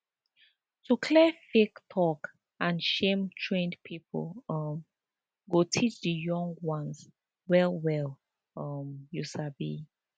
to clear fake talk and shame trained people um go teach di young ones well well um you sabi